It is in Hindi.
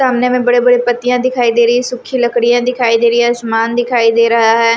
सामने में बड़े-बड़े पत्तियां दिखाई दे रही है सुखी लकड़ियां दिखाई दे रही है आसमान दिखाई दे रहा है ।